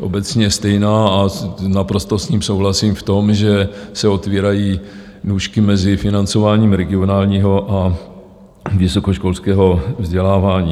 obecně stejná, a naprosto s ním souhlasím v tom, že se otvírají nůžky mezi financováním regionálního a vysokoškolského vzdělávání.